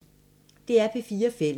DR P4 Fælles